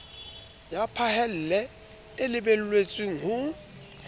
ya phahello e lebelletswe ho